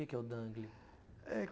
Que que é o dangle? eh